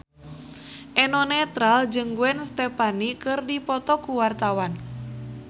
Eno Netral jeung Gwen Stefani keur dipoto ku wartawan